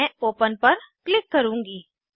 मैं open open पर click करूँगी